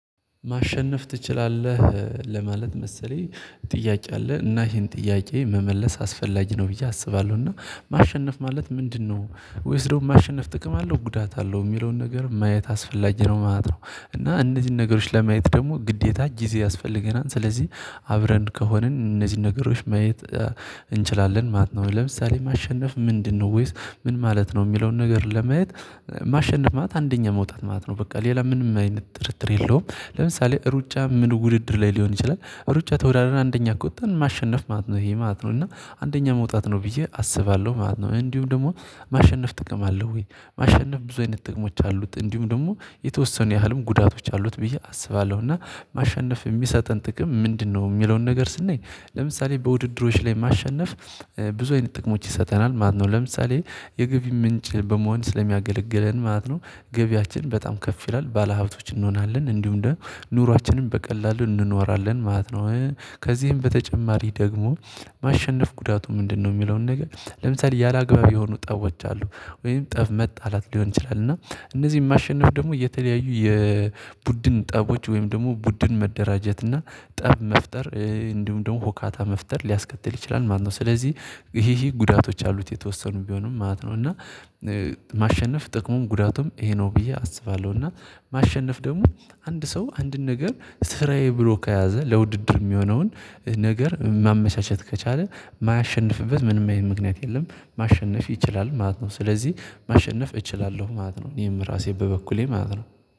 ማሸነፍ ትችላለህ ለማለት መሰለኝ። ጥያቄ አለ እና ይሄን ጥያቄ መመለስ አስፈላጊ ነው ብዬ አስባለሁ እና ማሸነፍ ማለት ምንድነው? ወይስ ደግሞ ማሸነፍ ጥቅም አለው ጉዳት አለው የሚለውን ነገር ማየት አስፈላጊ ነው ማለት ነው። እና እነዚህን ነገሮች ለማየት ደግሞ ግዴታ ጊዜ ያስፈልገናል ስለዚህ አብረን ከሆንን እነዚህን ነገሮች ማየት እንችላለን ማለት ነው። ለምሳሌ ማሸነፍ ምንድነው? ወይስ ምን ማለት ነው የሚለውን ነገር ለማየት ማሸነፍ ማት አንደኛ መውጣት ማት ነው በቃ ሌላ ምንም አይነት ጥርጥር የለውም። ለምሳሌ ሩጫ ምን ውድድር ላይ ሊሆን ይችላል። ሩጫ ተወዳድረን አንደኛ ቁጠን ማሸነፍ ማለት ነው ይሄ ማለት ነው እና አንደኛ መውጣት ነው ብዬ አስባለሁ ማለት ነው። እንዲሁም ደግሞ ማሸነፍ ጥቅም አለው ወይ ማሸነፍ ብዙ አይነት ጥቅሞች አሉት እንዲሁም ደግሞ የተወሰኑ ያህልም ጉዳቶች አሉት ብዬ አስባለሁ እና ማሸነፍ የሚሰጠን ጥቅም ምንድነው? የሚለውን ነገር ስናይ ለምሳሌ በውድድሮች ላይ ማሸነፍ ብዙ አይነት ጥቅሞች ይሰጠናል። ማነው ነው ለምሳሌ የግብህ ምንጭ በመሆን ስለሚያገለግለን ማለት ነው። ገቢያችን በጣም ከፍ ይላል ባለሀብቶች እንሆናለን እንዲሁም እንደ ኑሯችንን በቀላሉ እንኖራለን ማለት ነው። ከዚህም በተጨማሪ ደግሞ ማሸነፍ ጉዳቱ ምንድነው? የሚለውን ነገር ለምሳሌ ያላግባብ የሆኑ ጠቦች አሉ ወይም ጠብ መጣላት ሊሆን ይችላል። እና እነዚህን ማሸነፍ ደግሞ የተለያዩ የቡድን ጠቦች ወይም ደግሞ ቡድን መደራጀት እና ጠብ መፍጠር እንዲሁም ደግሞ ሆካታ መፍጠር ሊያስከትል ይችላል ማለት ነው። ስለዚህ ይሄ ጉዳቶች አሉት የተወሰኑ ቢሆኑም ማለት ነው። እና ማሸነፍ ጥቅሙም ጉዳቱም ይሄ ነው ብዬ አስባለሁ። እና ማሸነፍ ደግሞ አንድ ሰው አንድን ነገር ስራዬ ብሎ ከያዘ ለውድድር የሚሆነውን ነገር ማመቻቸት ከቻለ ማያሸንፍበት ምንም አይነት ምክንያት የለም። ማሸነፍ ይችላል ማለት ነው። ስለዚህ ማሸነፍ እችላለሁ ማለት ነው። እኔም ራሴ በበኩሌ ማለት ነው